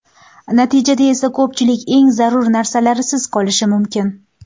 Natijada esa ko‘pchilik eng zarur narsalarsiz qolishi mumkin.